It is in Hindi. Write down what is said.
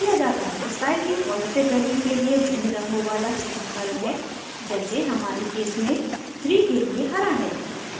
स्टाइल की पॉज़िटिव वैल्यू के लिए भिन्न रंगों वाला सीधा कर्व है जैसे हमारे केस में 3 के लिए हरा है